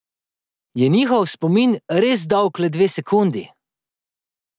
Je njihov spomin res dolg le dve sekundi?